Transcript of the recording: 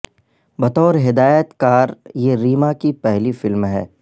بطور ہدایت کار یہ ریما کی پہلی فلم ہے